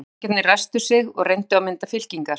Liðsforingjarnir ræsktu sig og reyndu að mynda fylkingar.